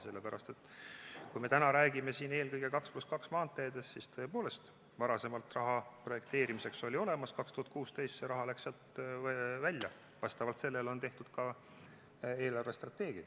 Sellepärast, et kui me täna räägime siin eelkõige 2 + 2 maanteedest, siis tõepoolest varasemalt oli raha projekteerimiseks olemas, 2016 see raha läks sealt välja ja vastavalt sellele on tehtud ka eelarvestrateegia.